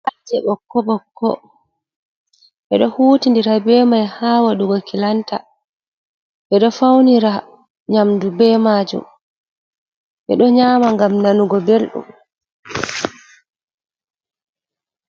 Cittaje ɓokko ɓokko, ɓedo huti ndira be mai ha wadugo kilanta, bedo faunira nyamdu be majum, be do nyama ngam nanugo beldum.